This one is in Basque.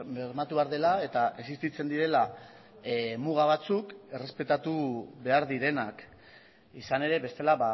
bermatu behar dela eta existitzen direla muga batzuk errespetatu behar direnak izan ere bestela